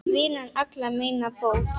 Vinnan allra meina bót.